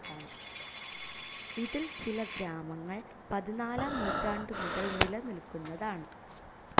ഇതിൽ ചില ഗ്രാമങ്ങൾ പതിനാലാം നൂറ്റാണ്ടുമുതൽ നിലനിൽക്കുന്നതാണ്.